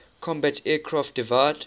combat aircraft divide